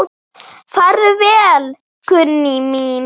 Farðu vel, Gunný mín.